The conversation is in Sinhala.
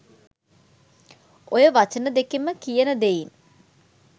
ඔය වචන දෙකෙන්ම කියන දෙයින්